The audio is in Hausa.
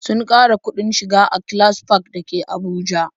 Sun ƙara kuɗin shiga A-class park dake Abuja